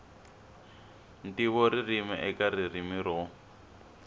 ntivo ririmi eka ririmi ro